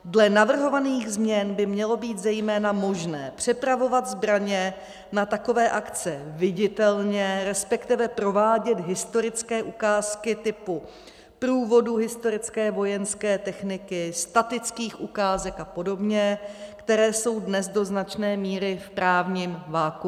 Dle navrhovaných změn by mělo být zejména možné přepravovat zbraně na takové akce viditelně, respektive provádět historické ukázky typu průvodů historické vojenské techniky, statických ukázek a podobně, které jsou dnes do značné míry v právním vakuu.